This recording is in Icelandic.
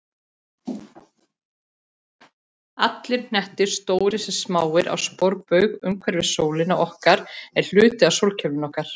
Allir hnettir, stórir sem smáir, á sporbaug umhverfis sólina okkar eru hluti af sólkerfinu okkar.